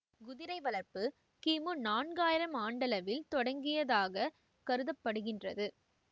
குதிரை வளர்ப்பு கிமு நான்காயிரம் ஆண்டளவில் தொடங்கியதாக கருத படுகின்றது